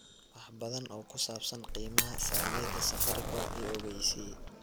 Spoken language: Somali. wax badan oo ku saabsan qiimaha saamiyada safaricom i ogeysii